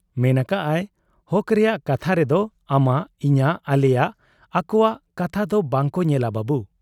ᱢᱮᱱ ᱟᱠᱟᱜ ᱟᱭᱼᱼ 'ᱦᱚᱠ ᱨᱮᱭᱟᱜ ᱠᱟᱛᱷᱟ ᱨᱮᱫᱚ ᱟᱢᱟᱜ, ᱤᱧᱟᱹᱜ, ᱟᱞᱮᱭᱟᱜ, ᱟᱠᱚᱣᱟᱜ ᱠᱟᱛᱷᱟ ᱫᱚ ᱵᱟᱝᱠᱚ ᱧᱮᱞᱟ ᱵᱟᱹᱵᱩ ᱾